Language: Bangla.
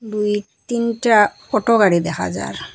দুই তিনটা অটো গাড়ি দেখা যার।